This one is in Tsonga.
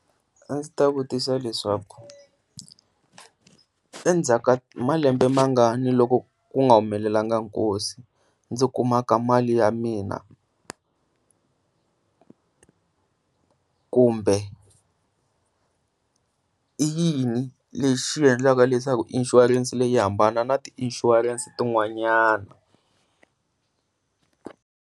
A ndzi ta vutisa leswaku endzhaku ka malembe mangani loko ku nga humelelanga nkosi ndzi kumaka mali ya mina, kumbe i yini lexi xi endlaka leswaku insurance leyi yi hambana na ti insurance tin'wanyani.